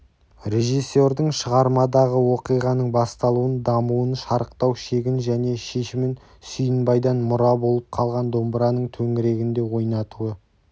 режиссердің шығармадағы оқиғаның басталуын дамуын шарықтау шегін және шешімін сүйінбайдан мұра болып қалған домбыраның төңірегінде ойнатуы